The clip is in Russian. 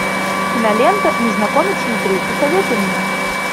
кинолента незнакомец внутри посоветуй мне